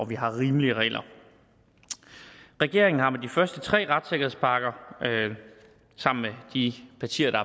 vi har rimelige regler regeringen er med de første tre retssikkerhedspakker sammen med de partier der